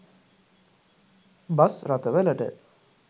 bus රථවලට